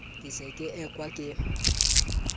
ke se ke ekwa ke